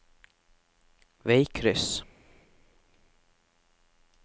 veikryss